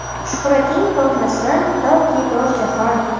Shuhrating porlasin toki bor jahon!.